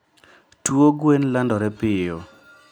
tuo gwen landore piyo.